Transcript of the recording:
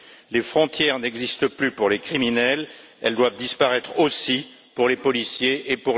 Les frontières n'existent plus pour les criminels, et elles doivent disparaître aussi pour les policiers et